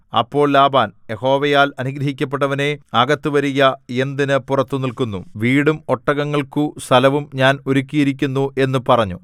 അപ്പോൾ ലാബാൻ യഹോവയാൽ അനുഗ്രഹിക്കപ്പെട്ടവനേ അകത്ത് വരുക എന്തിന് പുറത്തു നില്ക്കുന്നു വീടും ഒട്ടകങ്ങൾക്കു സ്ഥലവും ഞാൻ ഒരുക്കിയിരിക്കുന്നു എന്നു പറഞ്ഞു